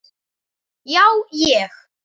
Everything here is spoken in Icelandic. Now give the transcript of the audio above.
Já, ég.